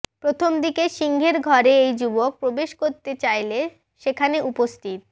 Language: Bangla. প্রথমদিকে সিংহের ঘরে ওই যুবক প্রবেশ করতে চাইলে সেখানে উপস্থিত